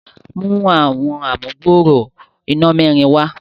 mú Àwọn amugbooro iná mẹrin wá.